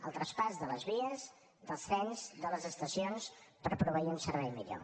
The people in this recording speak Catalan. el traspàs de les vies dels trens de les estacions per proveir un servei millor